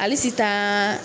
Ale SITAN.